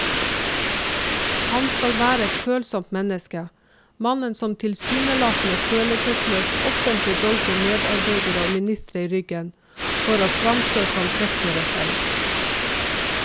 Han skal være et følsomt menneske, mannen som tilsynelatende følelsesløst offentlig dolker medarbeidere og ministre i ryggen for å fremstå som prektigere selv.